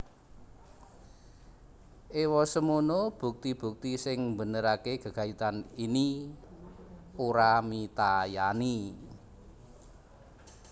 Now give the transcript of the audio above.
Ewosemono bukti bukti sing mbenerake gegayutan ini ora mitayani